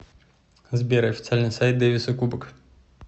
сбер официальный сайт дэвиса кубок